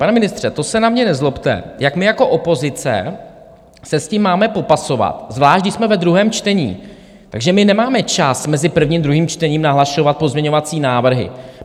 Pane ministře, to se na mě nezlobte, jak my jako opozice se s tím máme popasovat, zvlášť když jsme ve druhém čtení, takže my nemáme čas mezi prvním a druhým čtením nahlašovat pozměňovací návrhy.